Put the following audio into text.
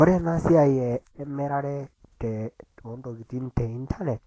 Ore ena siai emirare oontokiting teintanet,